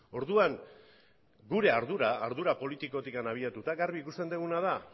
orduan gure ardura ardura politikotik abiatuta garbi ikusten duguna da